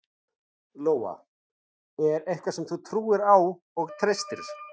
Lóa: En eitthvað sem þú trúir á og treystir?